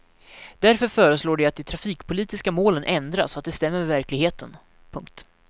Därför föreslår de att de trafikpolitiska målen ändras så att de stämmer med verkligheten. punkt